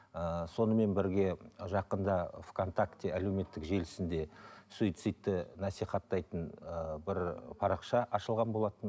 ыыы сонымен бірге жақында в контакте әлеуметтік желісінде суицидті насихаттайтын ыыы бір парақша ашылған болатын